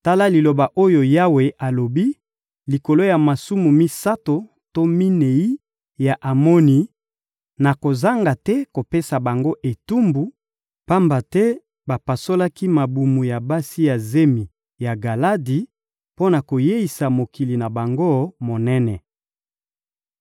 Tala liloba oyo Yawe alobi: «Likolo ya masumu misato to minei ya Amoni, nakozanga te kopesa bango etumbu, pamba te bapasolaki mabumu ya basi ya zemi ya Galadi mpo na koyeisa mokili na bango monene.